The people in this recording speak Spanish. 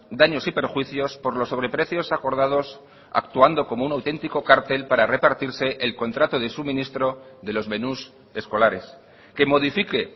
daños y perjuicios por los sobreprecios acordados actuando como un auténtico cartel para repartirse el contrato de suministro de los menús escolares que modifique